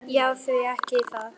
Já, því ekki það.